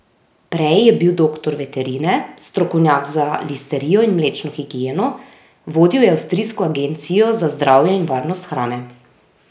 Prej je bil doktor veterine, strokovnjak za listerijo in mlečno higieno, vodil je avstrijsko agencijo za zdravje in varnost hrane.